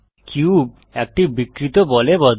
cube একটি বিকৃত বলে বদলায়